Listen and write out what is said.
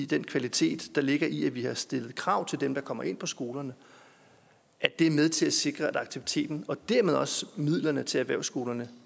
den kvalitet der ligger i at vi har stillet krav til dem der kommer ind på skolerne er med til at sikre at aktiviteten og dermed også midlerne til erhvervsskolerne